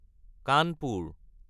Kanpur